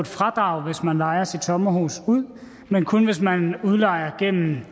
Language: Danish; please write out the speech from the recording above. fradrag hvis man lejer sit sommerhus ud men kun hvis man udlejer gennem